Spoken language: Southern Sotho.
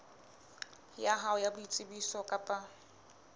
ya hao ya boitsebiso kapa